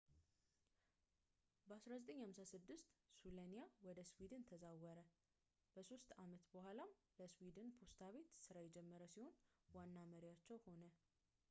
በ 1956 ሱለኒያ ወደ ስዊድን ተዛወረ ፣ ከሶስት ዓመት በኋላም ለስዊድን ፖስታ ቤት ሥራ የጀመረ ሲሆን ዋና መሪያቸው ሆነ